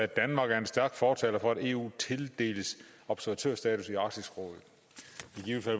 danmark er en stærk fortaler for at eu tildeles observatørstatus i arktisk råd